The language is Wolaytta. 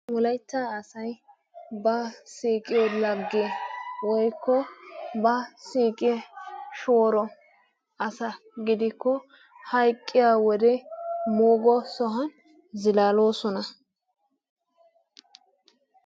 Wolaitta asay ba siiqiyo lage woikko ba siiqiyo shooro asa gidikko hayqqiya wode moogo sohuwan zilaaloosona.